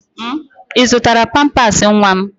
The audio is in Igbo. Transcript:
Ị zụtala pampaasị nwa m?